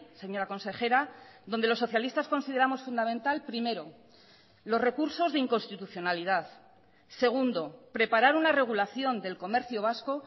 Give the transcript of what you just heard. señora consejera donde los socialistas consideramos fundamental primero los recursos de inconstitucionalidad segundo preparar una regulación del comercio vasco